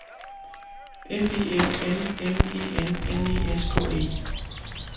F I L M M E N N E S K E